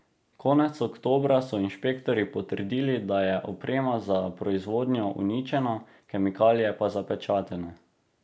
Konec oktobra so inšpektorji potrdili, da je oprema za proizvodnjo uničena, kemikalije pa zapečatene.